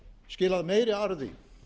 skilað meiri arði